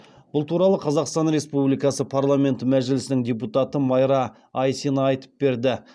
бұл туралы қазақстан республикасы парламенті мәжілісінің депутаты майра айсина айтып берді